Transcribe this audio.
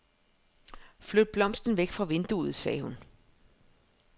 Flyt blomsten væk fra vinduet, sagde hun.